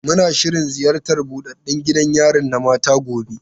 Muna shirin ziyartar buɗaɗɗan gidan yari na mata gobe.